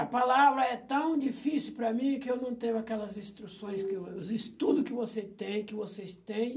A palavra é tão difícil para mim que eu não tenho aquelas instruções que o, os estudos que você tem, que vocês têm.